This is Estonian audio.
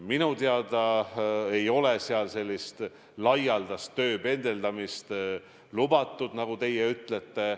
Minu teada ei ole seal laialdast tööpendeldamist lubatud, nagu teie ütlete.